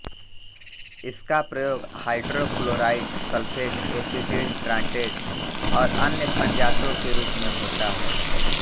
इसका प्रयोग hydrochloride sulphate acetate tartrate और अन्य संजातों के रूप में होता है